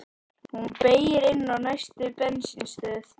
Hún beygir inn á næstu bensínstöð.